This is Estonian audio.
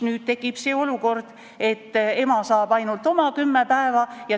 Nüüd tekib olukord, kus ema saab ainult oma kümme päeva.